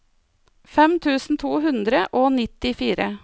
fem tusen to hundre og nittifire